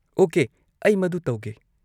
Okay, ꯑꯩ ꯃꯗꯨ ꯇꯧꯒꯦ꯫